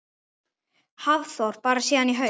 Hafþór: Bara síðan í haust?